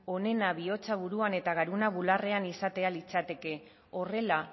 onena bihotza buruan eta garuna bularrean izatea litzateke horrela